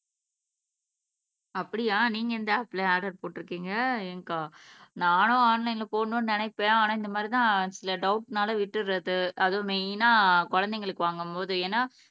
அப்படியா நீங்க எந்த ஆப்ல ஆர்டர் போட்டுருக்கிங்க ஏங்கா நானும் ஆன்லைன்ல போடணும்னு நினப்பேன் ஆனா இந்த மாதிரி தான் சில டவுட்னால விட்டுறது அதுவும் மெய்னா குழந்தைகளுக்கு வாங்கும் போது ஏனா